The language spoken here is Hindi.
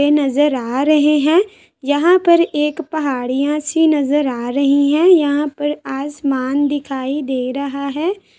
ये नजर आ रहे हैं। यहाँ पर एक पहाड़ियाँ सी नजर आ रही हैं। यहाँ पर आसमान दिखाई दे रहा है।